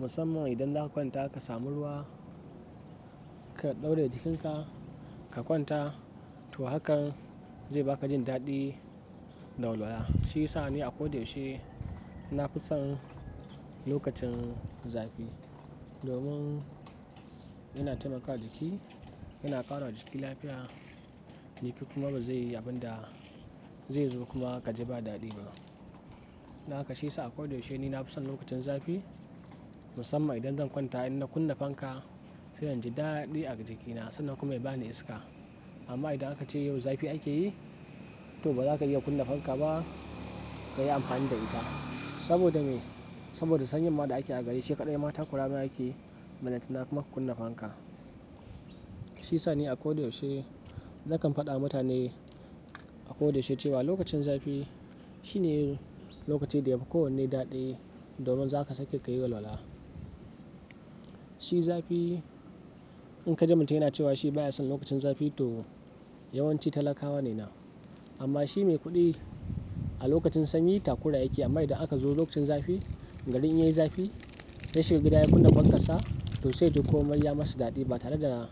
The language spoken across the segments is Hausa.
Musamman idan zaka kwanta ka samu ruwa, ka ɗauraye jikinka, ka kwanta, to hakan zai baka jin daɗi da walwala. Shi yasa ni a kodayaushe na fi son lokacin zafi. Domin yana taimakawa jiki, yana ƙara wa jiki lafiya, maybe kuma ba zai yi abin da zai zo kuma ka ji ba daɗi ba. Don haka shi yasa a kodayaushe ni na fi son lokacin zafi. Musamman idan zan kwanta, in na kunna fanka, zai jan ji daɗi a jikina sannan kuma ya bani iska. Amma idan aka ce yau zafi ake yi, to ba za ka iya kunna fanka ba ka yi amfani da ita. Saboda me? Saboda sanyin ma da ake a gari sai kaɗai ma takurama yakeyi, ballantana kuma ka kunna fanka. Shi yasa ni a kodayaushe nakan faɗa wa mutane a kodayaushe cewa lokacin zafi shine lokaci da yafi kowanne daɗi domin za ka sake ka yi walwala. Shi zafi in ka ji mutum yana cewa shi baya son lokacin zafi to yawanci talakawa ne na. Amma shi mai kuɗi a lokacin sanyi takura yake amma idan aka zo lokacin zafi, gari in yayi zafi, ya shiga gida ya kunna fankarsa, to sai yaji komai ya masa daɗi ba tare da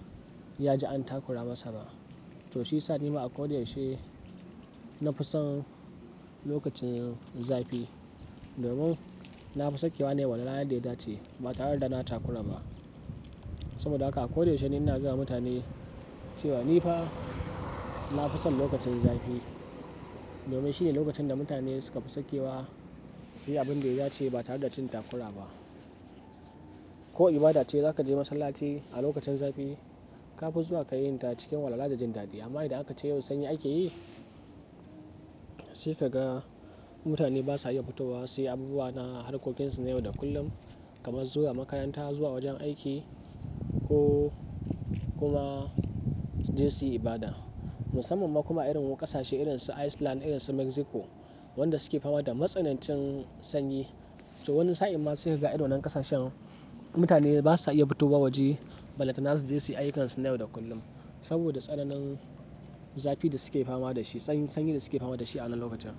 ya ji an takura masa ba. To shiyasa nima akoda yaushe na fi son lokacin zafi. Domin na fi sakewa ne wa walwala yanda ya dace ba tare da na takura ba. Saboda haka a kodayaushe ni ina gayawa mutane cewa ni fa na fi son lokacin zafi. Domin shine lokacin da mutane suka fi sakewa su yi abin da ya dace ba tare da jin takura ba. Ko ibada ce za ka je masallaci a lokacin zafi, ka fi zuwa ka yi ta cikin walwala da jin daɗi. Amma idan aka ce yau sanyi ake yi, sai ka ga mutane basa iya fito wa su yi abubuwa na harkokin su na yau da kullum kamar zuwa makaranta, zuwa wajen aiki ko kuma su je su yi ibada. Musamman ma kuma a irin wasu ƙasashe irin su Iceland, irin su Mexico, wanda suke fama da matsanancin sanyi. To wani sa'in ma sai ka ga a irin wannan ƙasashen mutane basa iya fito wa waje ballantana su je su yi ayyukan su na yau da kullum. Saboda tsananin zafi da suke fama da shi, tsanin sanyi da suke fama da shi a wannan lokacin.